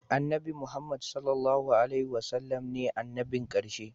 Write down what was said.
Annabi Muhammad (SAW) ne annabin karshe